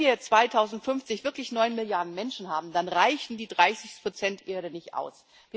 Wenn wir 2050 wirklich neun Milliarden Menschen haben, dann reichen die 30 Erde nicht aus.